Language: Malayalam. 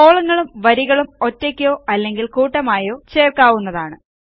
കോളങ്ങളും വരികളും ഒറ്റയ്ക്കോ അല്ലെങ്കിൽ കൂട്ടമായോ ചേർക്കാവുന്നതാണ്